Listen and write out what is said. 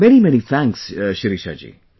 Many many thanks Shirisha ji